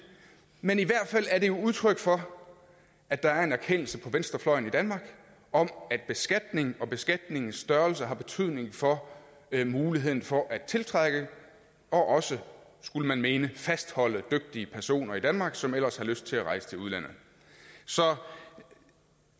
men i hvert fald er det udtryk for at der er en erkendelse venstrefløjen i danmark om at beskatning og beskatningens størrelse har betydning for muligheden for at tiltrække og også skulle man mene fastholde dygtige personer i danmark som ellers ville have lyst til at rejse til udlandet så